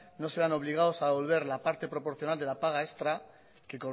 no se vean obligados a devolver la parte proporcional de la paga extra que